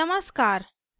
नमस्कार